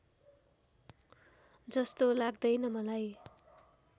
जस्तो लाग्दैन मलाई